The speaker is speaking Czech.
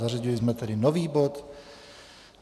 Zařadili jsme tedy nový bod.